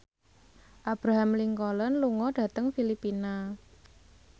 Abraham Lincoln lunga dhateng Filipina